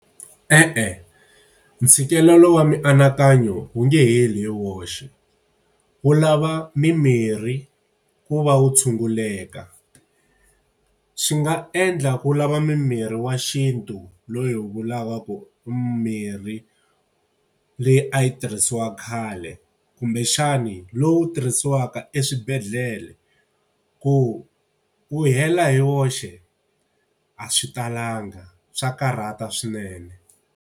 E-e ntshikelelo wa mianakanyo wu nga heli hi woxe, wu lava mimirhi ku va wu tshunguleka. Swi nga endla ku lava mimirhi wa xintu loyi hi wu lavaka ku mirhi leyi a yi tirhisiwa khale, kumbexani lowu tirhisiwaka eswibedhlele. ku wu hela hi woxe a swi talanga swa karhata swinene.